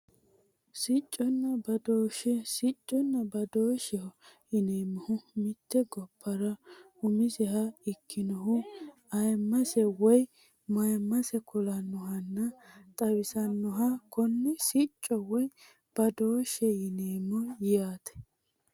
Sicconna badooshshe sicconna badooshsheho yineemmohu mitte gobbara umiseha ikkinohu ayimmase woyi mayimmase kulannohunna xawisannoha konne sicco woyi badooshshe yineemmo yaate